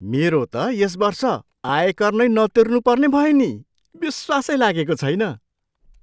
मेरो त यस वर्ष आयकर नै नतिर्नुपर्ने भयो नि! विश्वासै लागेको छैन।